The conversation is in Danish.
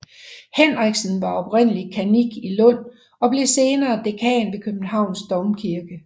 Henriksen var oprindeligt kannik i Lund og blev senere dekan ved Københavns Domkirke